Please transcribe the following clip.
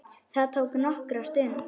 Það tók nokkra stund.